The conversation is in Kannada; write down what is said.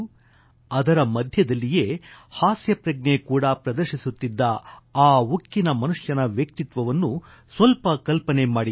ಅದರ ಮಧ್ಯದಲ್ಲಿಯೇ ಹಾಸ್ಯ ಪ್ರಜ್ಞೆ ಕೂಡಾ ಪ್ರದರ್ಶಿಸುತ್ತಿದ್ದ ಆ ಉಕ್ಕಿನ ಮನುಷ್ಯನ ವ್ಯಕ್ತಿತ್ವವನ್ನು ಸ್ವಲ್ಪ ಕಲ್ಪನೆ ಮಾಡಿಕೊಳ್ಳಿ